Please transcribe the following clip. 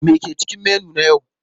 Me ke cikin menu na yau?